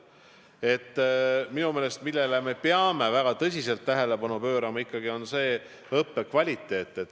See, millele me minu meelest peame väga tõsiselt tähelepanu pöörama, on ikkagi õppekvaliteet.